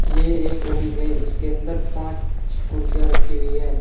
ये एक ऑफिस है इसके अंदर पांच छ कुर्सियां रखी हुई है।